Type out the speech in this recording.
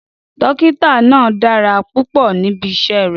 Dókítà náà dára púpọ̀ níbi iṣẹ́ rẹ̀.